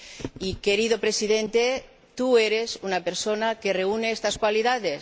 Y, querido Presidente, tú eres una persona que reúne estas cualidades.